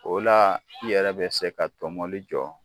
O la i yɛrɛ bɛ se ka tomoli jɔ